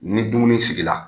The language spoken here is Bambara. Ni dumuni sigi la